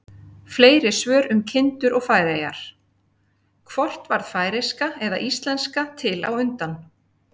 Fleiri svör um kindur og Færeyjar: Hvort varð færeyska eða íslenska til á undan?